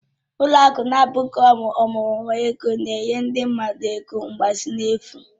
Ụlọ akụ na-abụghị ọmụrụ nwa ego na-enye ndị mmadụ ego mgbazinye n'efu